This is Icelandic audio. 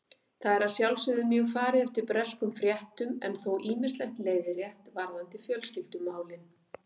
Þar er að sjálfsögðu mjög farið eftir breskum fréttum en þó ýmislegt leiðrétt varðandi fjölskyldumálin